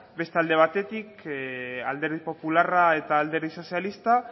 beste alde batetik alderdi popularra eta alderdi sozialista